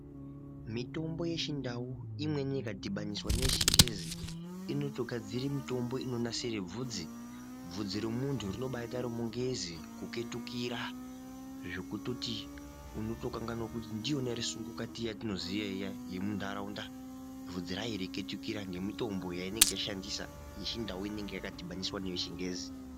Mitombo yechindau imweni ikadhibaniswa neyechingezi inotogadzire mitombo inonasire vhudzi. Bvudzi remuntu rinobaite remungezi kuketukira zvekutoti unotokanganwa kuti ndiyona ere sungukukati yetinoziya iya yemuntaraunda vhudzi reiketukira nemutombo inenge yashandiswa yechindau inenge yadhibhaniswa neyechingezi.